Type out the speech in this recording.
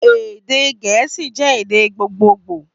Èdè gẹ̀ẹ́sì jé èdè gbogboogbò